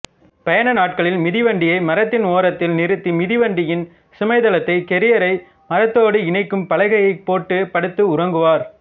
பயண நாட்களில் மிதிவண்டியை மரத்தின் ஒரத்தில் நிறுத்தி மிதிவண்டியின் சுமைதளத்தை கேரியரை மரத்தோடு இணைக்கும் பலகையை போட்டு படுத்து உறங்குவார்